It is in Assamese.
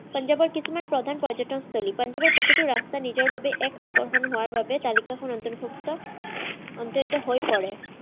পঞ্জাৱৰ কিছুমান প্ৰধান পৰ্য্যতনস্থলী। পঞ্জাৱৰ প্ৰতিটো ৰাস্তা নিজৰবাবে এক আকৰ্ষণ হোৱাৰবাবে তালিকাখন অন্তৰভুক্ত অত্যন্তহৈ পৰে।